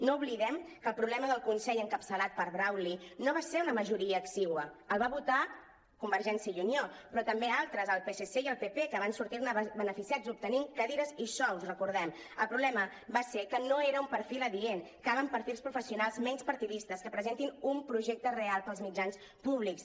no oblidem que el problema del consell encapçalat per brauli no va ser una ma·joria exigua el va votar convergència i unió però també altres el psc i el pp que van sortir·ne beneficiats obtenint cadires i sous ho recordem el problema va ser que no era un perfil adient calen perfils professionals menys partidistes que pre·sentin un projecte real pels mitjans públics